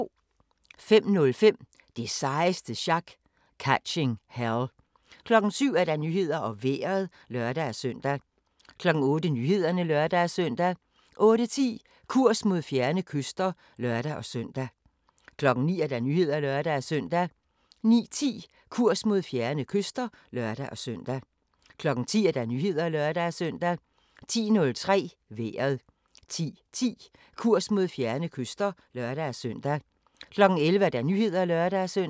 05:05: Det sejeste sjak - Catching Hell 07:00: Nyhederne og Vejret (lør-søn) 08:00: Nyhederne (lør-søn) 08:10: Kurs mod fjerne kyster (lør-søn) 09:00: Nyhederne (lør-søn) 09:10: Kurs mod fjerne kyster (lør-søn) 10:00: Nyhederne (lør-søn) 10:03: Vejret 10:10: Kurs mod fjerne kyster (lør-søn) 11:00: Nyhederne (lør-søn)